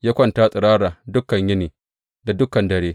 Ya kwanta tsirara dukan yini da dukan dare.